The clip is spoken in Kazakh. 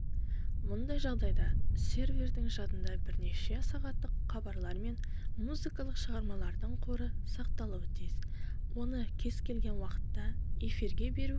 мұндай жағдайда сервердің жадында бірнеше сағаттық хабарлар мен музыкалық шығармалардың қоры сақталуы тиіс оны кез-келген уақытта эфирге беру